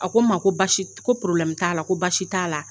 A ko n ma ko basi ko t'a la ko basi t'a la.